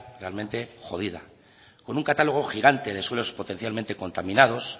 realmente jodida con un catálogo gigante de suelos potencialmente contaminados